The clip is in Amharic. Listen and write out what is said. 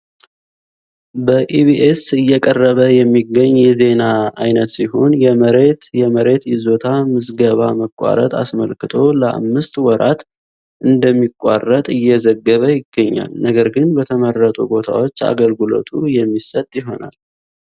በኢቢኤስ እየቀረበ የሚገኝ የዜና አይነት ሲሆን የመሬት የመሬት ይዞታ ምዝገባ መቋረጥ አስመልክቶ ለአምስት ወራት እንደሚቋረጥ የዘገበ ይገኛል። ነገር ግን በተመረጡ ቦታዎች አገልግሎቱ የሚሰጥ ይሆናል።